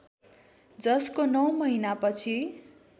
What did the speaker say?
जसको नौ महिनापछि